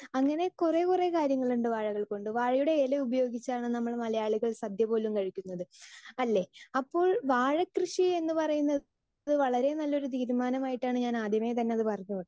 Speaker 2 അങ്ങിനെ കൊറേ കൊറേ കാര്യങ്ങൾ ഉണ്ട് വാഴകൾ കൊണ്ട് വാഴയുടെ ഇല ഉപയോഗിച്ചാണ് നമ്മൾ മലയാളികൾ സദ്യ പോലും കഴിക്കുന്നത് അല്ലെ? അപ്പൊ വാഴ കൃഷി എന്ന് പറയുന്നത് വളരേ നല്ലൊരു തീരുമാനം ആയിട്ടാണ് ഞാൻ ആദ്യമേ തന്നെ അത് പറഞ്ഞു